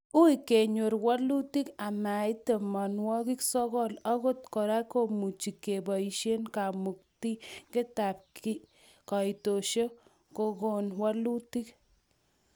Ui kenyor walutik amait tamanwokik sokol, angot kora kemuchi keboisie ng'amutikab kaitosiek kokon walutik.